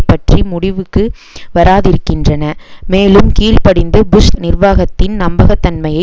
பற்றி முடிவுக்கு வராதிருக்கின்றன மேலும் கீழ் படிந்து புஷ் நிர்வாகத்தின் நம்பகத்தன்மையை